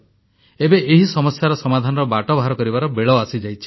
ଏବେ ଏହି ସମସ୍ୟାର ସମାଧାନର ବାଟ ବାହାର କରିବାର ବେଳ ଆସିଯାଇଛି